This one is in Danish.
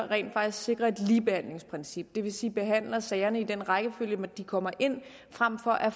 rent faktisk sikrer et ligebehandlingsprincip det vil sige behandler sagerne i den rækkefølge de kommer ind i frem for at